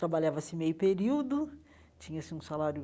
Trabalhava-se meio período, tinha-se um salário